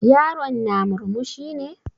Yaron na murmushi ne?